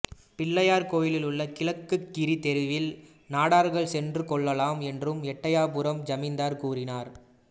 பிள்ளையார் கோயில் உள்ள கிழக்கு கிரி தெருவில் நாடார்கள் சென்று கொள்ளளாலாம் என்று எட்டையபுரம் ஜமீன்தார் கூறினார்